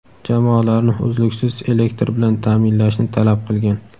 jamoalarni uzluksiz elektr bilan ta’minlashni talab qilgan.